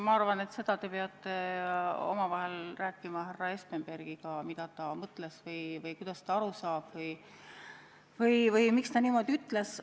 Ma arvan, et seda te peate rääkima härra Espenbergiga omavahel, mida ta mõtles või kuidas ta asjast aru saab või miks ta niimoodi ütles.